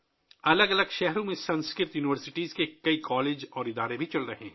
مختلف شہروں میں سنسکرت یونیورسٹیوں کے بہت سے کالج اور انسٹی ٹیوٹ بھی چلائے جا رہے ہیں